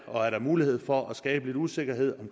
og er der mulighed for at skabe lidt usikkerhed